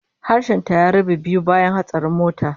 Harshen ta ya rabe biyu bayan hatsarin motar